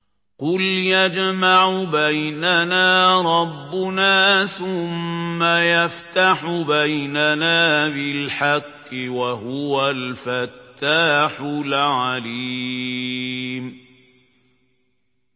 قُلْ يَجْمَعُ بَيْنَنَا رَبُّنَا ثُمَّ يَفْتَحُ بَيْنَنَا بِالْحَقِّ وَهُوَ الْفَتَّاحُ الْعَلِيمُ